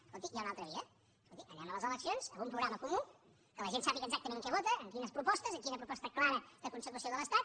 escolti hi ha una altra via escolti anem a les eleccions amb un programa comú que la gent sàpiga exactament què vota quines propostes quina proposta clara de consecució de l’estat